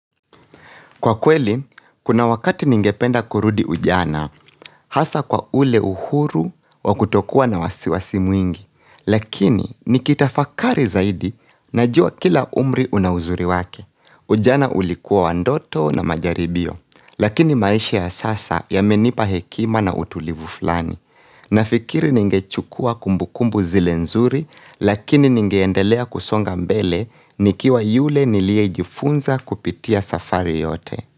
Kwa kweli, kuna wakati ningependa kurudi ujana, hasa kwa ule uhuru wa kutokuwa na wasiwasi mwingi, lakini nikitafakari zaidi najua kila umri una uzuri wake. Ujana ulikuwa wa ndoto na majaribio, lakini maisha ya sasa yamenipa hekima na utulivu flani. Na ikiri ningechukua kumbukumbu zile nzuri, lakini ningeendelea kusonga mbele nikiwa yule nilie jifunza kupitia safari yote.